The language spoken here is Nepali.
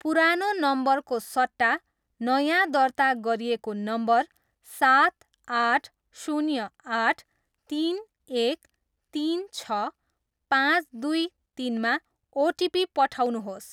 पुरानो नम्बरको सट्टा नयाँ दर्ता गरिएको नम्बर सात, आठ, शुन्य, आठ, तिन, एक, तिन, छ, पाँच, दुई, तिनमा ओटिपी पठाउनुहोस्।